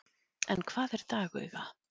en hvað er dagauga